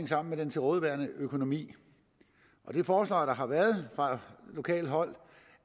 sammen med den til rådighed stående økonomi det forslag der har været fra lokalt hold